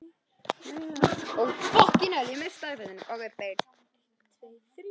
Ég bað þau um að teikna mynd af sér og fjölskyldu sinni.